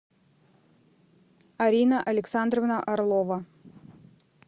арина александровна орлова